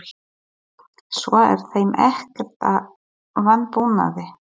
Svo er þeim ekkert að vanbúnaði.